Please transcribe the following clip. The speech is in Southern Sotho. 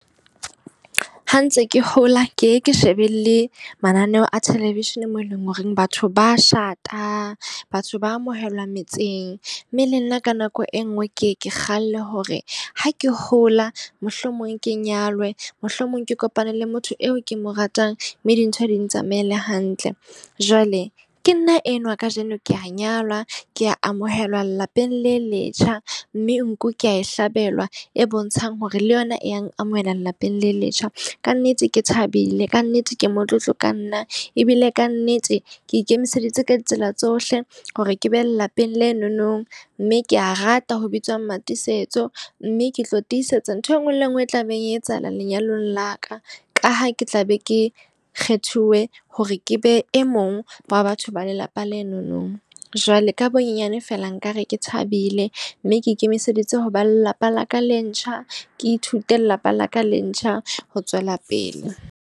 Ha ntse ke hola ke ye ke shebelle mananeo a television mo e leng horeng batho bashata, batho ba amohelwa metseng. Mme le nna ka nako e nngwe ke ye ke kgalle hore ha ke hola mohlomong ke nyalwe. Mohlomong ke kopane le motho eo ke mo ratang mme dintho di ntsamaela hantle. Jwale ke nna enwa kajeno, ke a nyalwa. Ke a amohelwa lelapeng le letjha mme nku ke a e hlabelwa e e bontshang hore le yona e yang amohela lelapeng le letjha. Kannete ke thabile, ka nnete ke motlotlo ka nna. Ebile ka nnete ke ikemiseditse ka ditsela tsohle hore ke behe lelapeng lenonong mme ke a rata ho bitswa Mmatiisetso. Mme ke tlo tisetsa ntho e nngwe le e nngwe e tla beng e etsahala lenyalong la ka. Ka ha ke tla be ke kgethuwe hore ke be e mong wa batho ba lelapa lenono. Jwale ka bonyenyane feela, nka re ke thabile. Mme ke ikemiseditse ho ba lelapa la ka le ntjha. Ke ithute lelapa la ka le ntjha ho tswela pele.